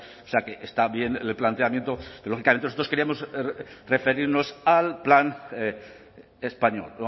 o sea que está bien el planteamiento que lógicamente nosotros queríamos referirnos al plan español